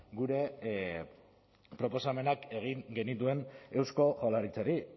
gure proposamenak egin genituen eusko jaurlaritzari